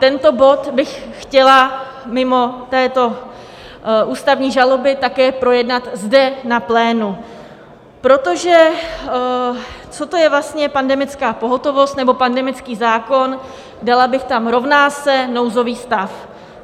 Tento bod bych chtěla, mimo této ústavní žaloby, také projednat zde na plénu, protože co to je vlastně pandemická pohotovost nebo pandemický zákon, dala bych tam rovná se nouzový stav?